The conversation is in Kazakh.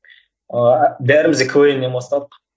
ыыы бәріміз де квн нен бастадық